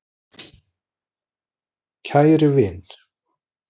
Kæri vin!